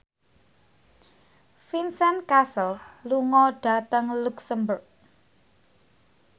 Vincent Cassel lunga dhateng luxemburg